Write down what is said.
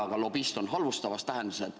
Aga lobist on halvustavas tähenduses.